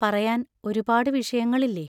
പറയാൻ ഒരുപാടു വിഷയങ്ങളില്ലേ?